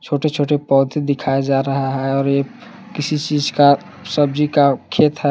छोटे छोटे पौधे दिखाया जा रहा है और ये किसी चीज़ का सब्ज़ी का खेत है।